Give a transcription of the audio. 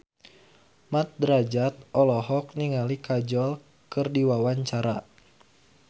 Mat Drajat olohok ningali Kajol keur diwawancara